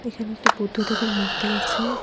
এখানে একটি বুদ্ধদেবের মূর্তি আছে।